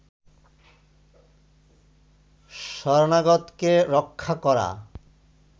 শরণাগতকে রক্ষা করা